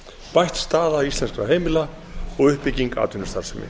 bætt staða íslenskra heimila og uppbygging atvinnustarfsemi